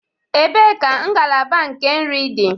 Ebee ka ngalaba nke nri dị?